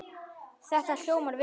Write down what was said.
Þetta hljómar vel.